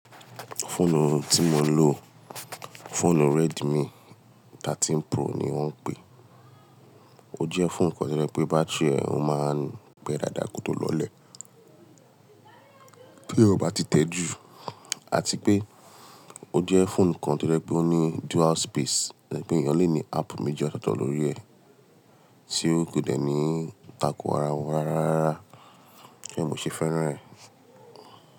Fóònù tí mo ń lò, fóònù Redmi thirteen pro ni wọ́n ń pè é. Ó jẹ́ fóònù kan tojẹ̀ pé bátíìrì ọ máa ń pẹ dàda kótó lọlẹ̀ tí ó bá ti tẹ́ jù, àti pé ó jẹ́ fóònù kan tojẹ̀ pé ó ní dual space, to jẹ bí ènìyàn lè ní áàpù méjì ọ̀tọ̀ọ̀tọ̀ lórí ẹ̀ tí ó kò dẹ̀ ní tàko ara wọn rárá. Tori ẹ mò ṣe fẹ́ràn ẹ̀